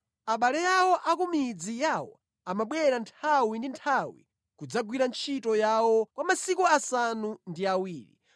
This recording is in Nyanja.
Abale awo a ku midzi yawo amabwera nthawi ndi nthawi kudzagwira ntchito yawo kwa masiku asanu ndi awiri.